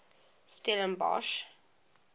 stellenbosch